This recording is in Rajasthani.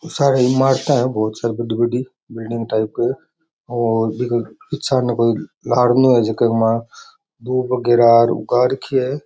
सारे इमरता है बहुत सारी बड़ी बड़ी बिल्डिंग टाइप की और पीछे ने गार्डन है दुब वगेरा उगा राखी है।